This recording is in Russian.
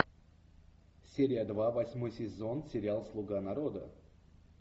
серия два восьмой сезон сериал слуга народа